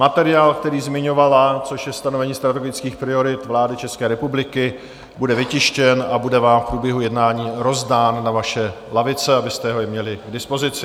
Materiál, který zmiňovala, což je stanovení strategických priorit vlády České republiky bude vytištěn a bude vám v průběhu jednání rozdán na vaše lavice, abyste ho měli i k dispozici.